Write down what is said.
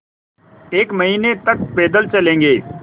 एक महीने तक पैदल चलेंगे